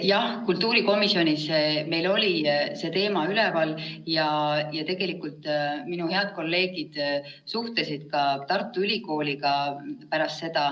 Jah, kultuurikomisjonis oli meil see teema üleval ja tegelikult minu head kolleegid suhtlesid pärast seda ka Tartu Ülikooliga.